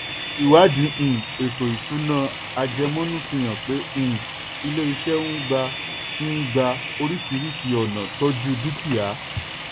ìwádìí um ètò ìṣúná àjẹmọ́nú fihàn pé um ilé iṣẹ́ n gba n gba oríṣiiríṣi ọ̀nà tọ́ju dúkìá.